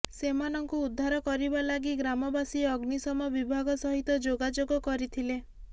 ସେମାନଙ୍କୁ ଉଦ୍ଧାର କରିବା ଲାଗି ଗ୍ରାମବାସୀ ଅଗ୍ନିଶମ ବିଭାଗ ସହିତ ଯୋଗାଯୋଗ କରିଥିଲେ